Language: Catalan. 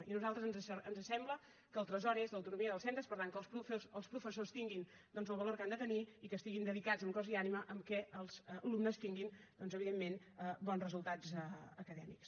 i a nosaltres ens sembla que el tresor és l’autonomia dels centres per tant que els professors tinguin doncs el valor que han de tenir i que estiguin dedicats en cos i ànima en el fet que els alumnes tinguin evidentment bons resultats acadèmics